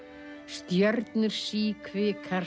stjörnur síkvikar